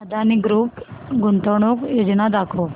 Adani group गुंतवणूक योजना दाखव